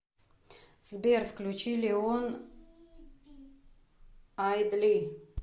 сбер включи леон ай дли